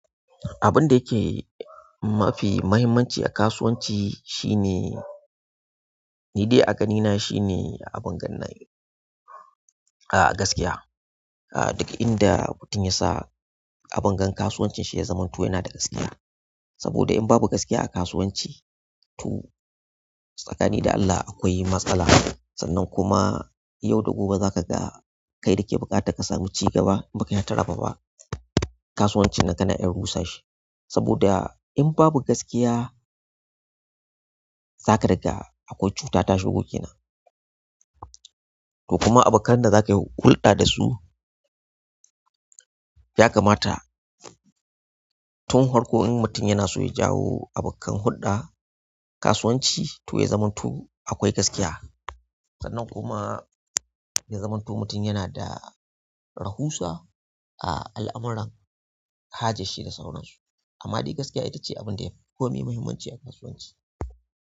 Abunda yake mafi mahimmanci a kasuwanci, shine, ni dai a gani na shine, abun gan ga, ah gaskiya. Duk inda mutum ya sa abin gan kasuwancin shi ya zamantu yana da gaskiya. Saboda in babu gaskiya a kasuwanci, to tsakanin da Allah akwai matsala. Sannan kuma yau da gobe za ka ga kai da ke buƙata ka samu ci gaba, in ba kayi hataraba ba. Kasuwancin nan kana iya rusa shi, saboda in babu gaskiya zaka riga akwai cuta ta shigo gina. Kuma abokan da za ka hulɗa da su, yakamata tun hwarko in mutum yana son ya jawo abokan hulɗa, kasuwanci to ya zamanto akwai gaskiya. Sannan kuma ya zamanto mutum yana da rahusa, a al'amuran haja shi da sauransu amma dai gaskiya ita ce abun da yafi komai muhimmanci a kasuwanci.